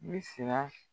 Ne siran